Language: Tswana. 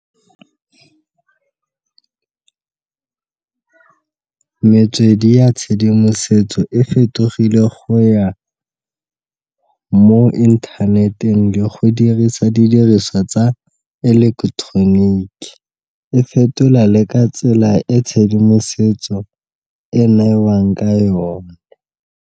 Metswedi ya tshedimosetso e fetogile go ya mo internt-eng le go dirisa didiriswa tsa ileketeroniki, e fetola le ka tsela e tshedimosetso e neelwang ka yone.